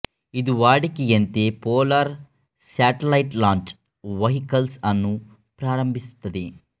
ಇದು ವಾಡಿಕೆಯಂತೆ polar satellite launch vehicles ಅನ್ನು ಪ್ರಾರಂಭಿಸುತ್ತದೆ